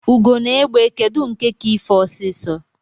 Ugo na egbe kedụ nke ka ife ọsisọ?